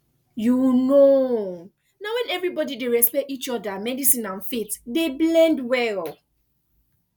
you know na when everybody dey respect each other medicine and faith dey blend well